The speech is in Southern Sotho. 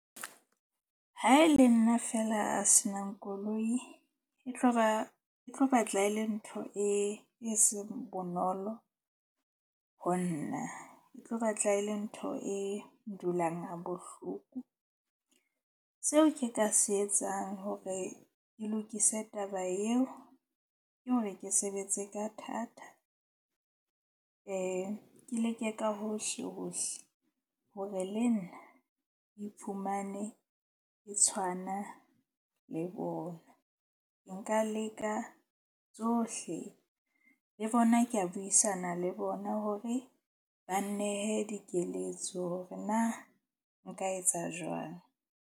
Ha e le nna feela a se nang koloi e tlo ba tlo ba, e tlo batla e le ntho e seng bonolo ho nna. E tlo batla e ndulang ha bohloko. Seo ke ka se etsang hore ke lokise taba eo ke hore ke sebetse ka thata. Ke leke ka hohlehohle hore le nna ke iphumane ke tshwana le bona. Nka leka tsohle le bona ka buisana le bona hore ba nnehe dikeletso hore na nka etsa jwang.